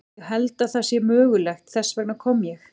Ég held að það sé mögulegt, þess vegna kom ég.